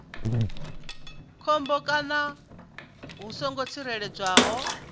khombo kana hu songo tsireledzeaho